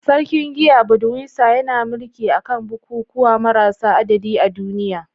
Sarkin giya, Budweiser, yana mulki a kan bukukuwa marasa adadi a duniya.